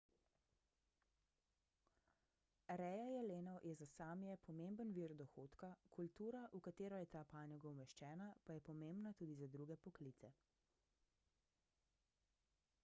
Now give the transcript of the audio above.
reja jelenov je za sámije pomemben vir dohodka kultura v katero je ta panoga umeščena pa je pomembna tudi za druge poklice